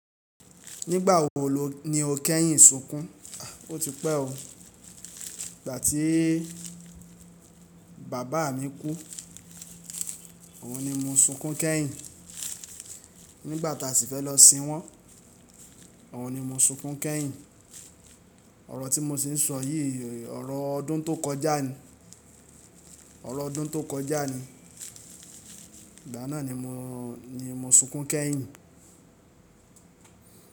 Nígbà wo lo ni o kẹ́yìn sunkún? O ti pẹ́ o. Ìgbà tí bàbá mi kú, òun ni mo sunkún kẹ́yìn. Nígbà tí a sì fẹ́ lọ sin wọ́n, òun ni mo sunkún kẹ́yìn. Ọ̀rọ̀ tí mo sì ń sọ yí, ọ̀rọ̀ ọdún tó kọjá ni, ọ̀rọ̀ ọdún tó kọjá ni. Ìgbà náà ni mo, ni mo sunkún kẹ́yìn.